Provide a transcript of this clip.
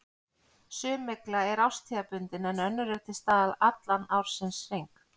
Sum mygla er árstíðabundin en önnur er til staðar allan ársins hring.